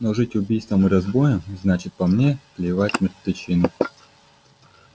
но жить убийством и разбоем значит по мне клевать мертвечину